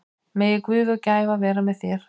Megi Guð og gæfa vera með þér.